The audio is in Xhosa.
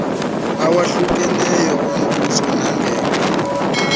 awahlukeneyo ombuso nangekho